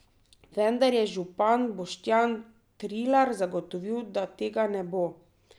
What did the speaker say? Vendar je župan Boštjan Trilar zagotovil, da tega ne bo.